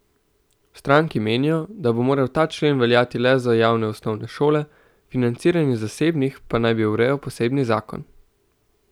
V stranki menijo, da bi moral ta člen veljati le za javne osnovne šole, financiranje zasebnih pa naj bi urejal posebni zakon.